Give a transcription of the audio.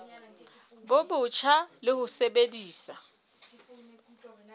bo botjha le ho sebedisa